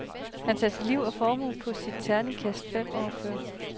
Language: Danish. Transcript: Han satsede liv og formue på sit terningkast fem år før.